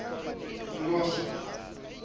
mimosa